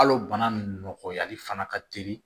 Hal'o bana nun nɔgɔyali fana ka teli